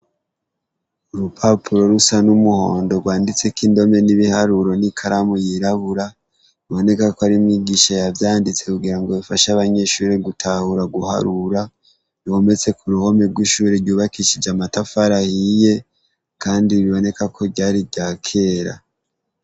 Urupapuro rusa n' umuhondo rwanditsweko indome n'ibiharuro n' ikaramu yirabura, biboneka ko ari umwigisha yavyanditse kugirango nifashe abanyeshure gutahura guharura, ruhometse ku ruhome rw' ishure ryubakishije amatafari ahiye, kandi biboneka ko ryari iryakera.